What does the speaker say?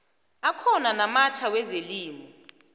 akhona namatjha wezelimo